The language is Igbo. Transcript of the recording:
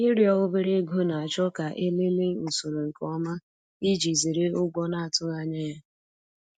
Ịrịọ obere ego na-achọ ka e lelee usoro nke ọma iji zere ụgwọ na-atụghị anya ya.